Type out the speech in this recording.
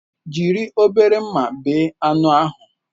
Jiri obere mma bee anụ ahụ!